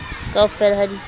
kaofela ha di se di